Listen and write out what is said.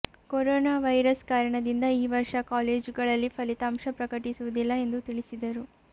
corona virus ಕಾರಣದಿಂದ ಈ ವರ್ಷ ಕಾಲೇಜುಗಳಲ್ಲಿ ಫಲಿತಾಂಶ ಪ್ರಕಟಿಸುವುದಿಲ್ಲ ಎಂದು ತಿಳಿಸಿದರು